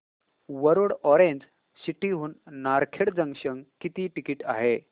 Warud orange city हून Narkhed junction किती ticket आहे